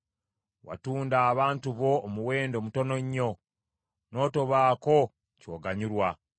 Watunda abantu bo omuwendo mutono nnyo, n’otobaako ky’oganyulwa.